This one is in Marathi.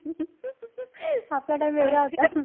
आपला time वेगळा होता.